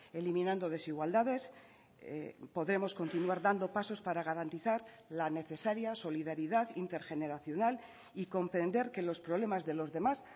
eliminando desigualdades podremos continuar dando pasos para garantizar la necesaria solidaridad intergeneracional y comprender que los problemas de los demás